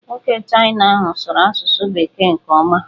Nwoke Chịna ahụ sụrụ asụsụ bekee nke ọma.